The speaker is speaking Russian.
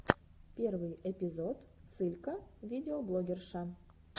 первый эпизод цылька видеоблогерша